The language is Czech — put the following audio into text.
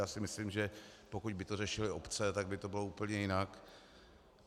Já si myslím, že pokud by to řešily obce, tak by to bylo úplně jinak.